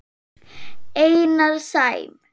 Einar Sæm.